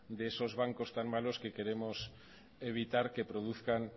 de esos bancos tan malos que queremos evitar que produzcan